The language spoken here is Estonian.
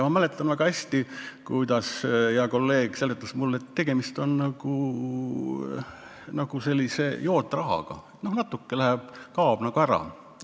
Ma mäletan väga hästi, kuidas hea kolleeg seletas mulle, et tegemist on nagu jootrahaga, natuke kaob nagu ära.